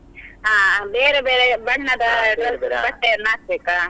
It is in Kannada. ಅಹ್ ಬೇರೆ ಬೇರೆ ಬಣ್ಣದ dress ಬಟ್ಟೆಯನ್ನ ಹಾಕ್ಬೇಕಾ?